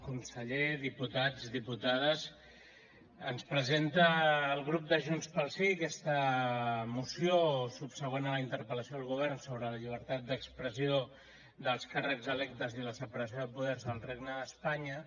conseller diputats diputades ens presenta el grup de junts pel sí aquesta moció subsegüent a la interpel·lació al govern sobre la llibertat d’expressió dels càrrecs electes i la separació de poders al regne d’espanya